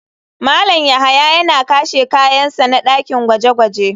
Malam yahya yana kashe kayan sa na dakin gwaje-gwaje.